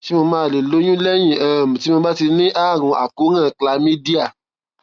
ṣé mo máa lè lóyún lẹyìn um tí mo ti ní àrùn àkóràn chlamydia